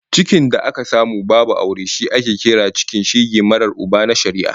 Cikin da aka samu babu aure shi ake kira cikin shege marar Uba na shari'a